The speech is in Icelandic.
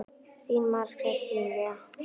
Þín Margrét Júlía.